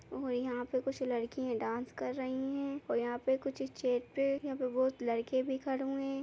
और यहाँ पे कुछ लड़की डांस कर रही हैं और यहाँ पे कुछ स्टेज पे यहाँ पे बहोत लड़के भी खड़े हुए हैं।